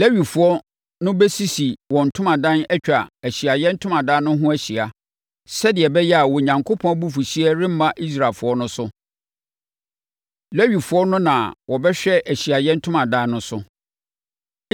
Lewifoɔ no bɛsisi wɔn ntomadan atwa Ahyiaeɛ Ntomadan no ho ahyia, sɛdeɛ ɛbɛyɛ a Onyankopɔn abufuhyeɛ remma Israelfoɔ no so. Lewifoɔ no na wɔbɛhwɛ Ahyiaeɛ Ntomadan no so.”